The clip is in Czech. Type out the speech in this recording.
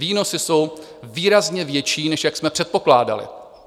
Výnosy jsou výrazně větší, než jak jsme předpokládali.